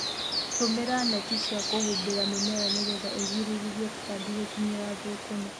Tũmĩra neti cia kũhumbĩra mĩmera nĩgetha ũgirĩrĩrie tũtambi gũkinyĩra thũkũma.